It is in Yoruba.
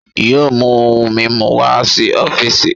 yóò mu ohun mimu wá si ọfiisi?